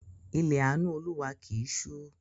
Ilẹ̀ àánú Olúwa kì í ṣú.